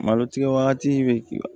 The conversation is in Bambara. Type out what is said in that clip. Malotigi wagatinin bɛ